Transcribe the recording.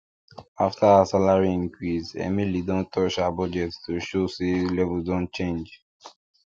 after her salary increase emily don touch her budget to show say levels don change